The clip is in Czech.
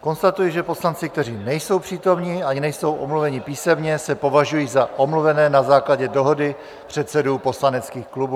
Konstatuji, že poslanci, kteří nejsou přítomni ani nejsou omluveni písemně, se považují za omluvené na základě dohody předsedů poslaneckých klubů.